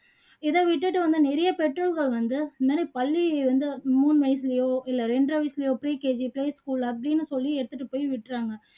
இதை விட்டுட்டு வந்து நிறைய பெற்றோர்கள் வந்து இந்நேரம் பள்ளி வந்து மூணு வயசுலையோ இல்ல இரண்டரை வயசுலையோ போயி school அப்படின்னு சொல்லி எடுத்துட்டு போயி விட்டுறாங்க